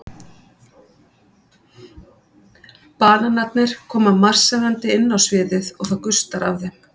Bananarnir koma marserndi inn á sviðið og það gustar af þeim.